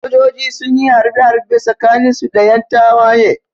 Sojoji sunyi harbe harbe tsakanin su da yan tawaye